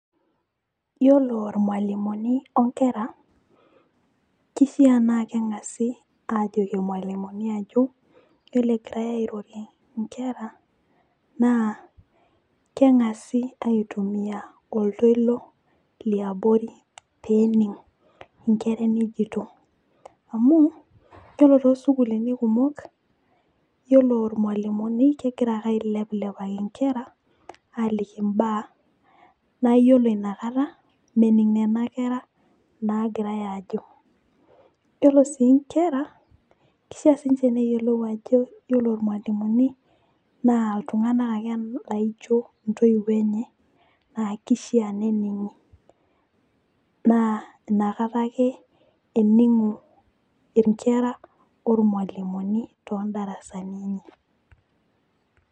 Iyiolo ilmalimuni onkera, kishaa naa keng'asi aajoki ilmalimuni ajo, iyiolo egirae airorie nkera naa keg'asi aitumia oltoilo liabori pee ening' inkera enijto amu ore too sukuulini kumok, iyiolo ilmalimuni kegira ake ailepilepaki nkera aaliki mbaa naa iyioolo inakata mening' nkera naagirae aajo, iyiolo sii nkera kishaa sii ninche neyiolou ajo iyiolo ilamimuni naa iltung'anak ake laijo intoiwuo enye, naa kishaa nening'i naa inkata ake ening'o inkera ormualimuni too ndarasani enye.